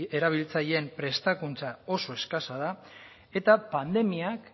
erabiltzaileen prestakuntza oso eskasa da eta pandemiak